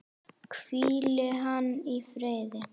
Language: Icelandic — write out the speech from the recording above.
Hvíli hann í friði.